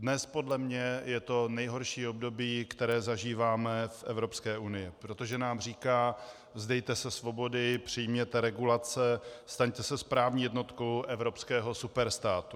Dnes podle mě je to nejhorší období, které zažíváme v Evropské unii, protože nám říká: Vzdejte se svobody, přijměte regulace, staňte se správní jednotkou evropského superstátu!